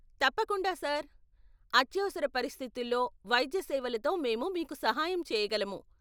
తప్పకుండా సార్, అత్యవసర పరిస్థితుల్లో వైద్య సేవలతో మేము మీకు సహాయం చేయగలము.